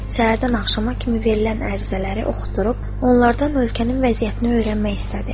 Səhərdən axşama kimi verilən ərizələri oxutdurub onlardan ölkənin vəziyyətini öyrənmək istədi.